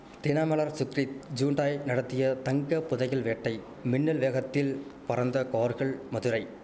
Dinamalar Sukrit Hyundai நடத்திய தங்க புதையல் வேட்டை மின்னல் வேகத்தில் பறந்த கார்கள் மதுரை